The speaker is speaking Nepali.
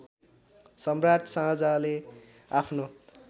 सम्राट शाहजहाँले आफ्नो